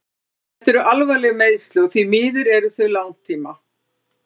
Þetta eru alvarleg meiðsli og því miður eru þau langtíma.